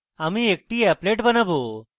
applet বানাবো